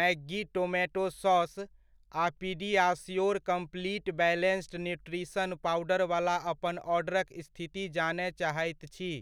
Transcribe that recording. Maggi tomato sauce आ PediaSure complete balanced nutrition powder वला अपन ऑर्डरक स्थिति जानय चाहैत छी।